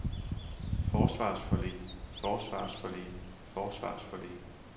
forsvarsforlig forsvarsforlig forsvarsforlig